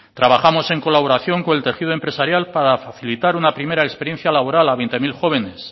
trabajamos en colaboración con el tejido empresarial para facilitar una primera experiencia laboral a veinte mil jóvenes